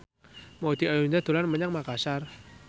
Maudy Ayunda dolan menyang Makasar